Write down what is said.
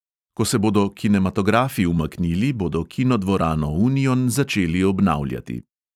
Ko se bodo kinematografi umaknili, bodo kinodvorano union začeli obnavljati.